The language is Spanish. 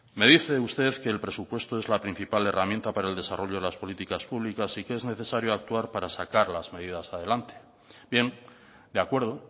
me dice usted que el presupuesto es la principal herramienta para el desarrollo de las políticas públicas y que es necesario actuar para sacar las medidas adelante bien de acuerdo